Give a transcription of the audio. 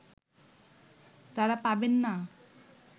তারা পাবেন না